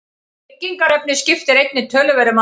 Byggingarefnið skiptir einnig töluverðu máli.